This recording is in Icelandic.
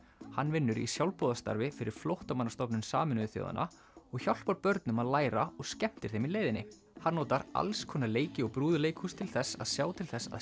hann vinnur í sjálfboðastarfi fyrir Flóttamannastofnun Sameinuðu þjóðanna og hjálpar börnum að læra og skemmtir þeim í leiðinni hann notar alls konar leiki og brúðuleikhús til þess að sjá til þess að